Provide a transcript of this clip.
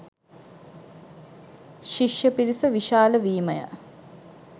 ශිෂ්‍ය පිරිස විශාල වීමය.